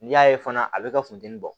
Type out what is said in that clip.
N'i y'a ye fana a bɛ ka funtɛni bɔ